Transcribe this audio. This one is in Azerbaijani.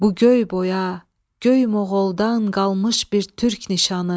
Bu göy boya göy moğoldan qalmış bir türk nişanı.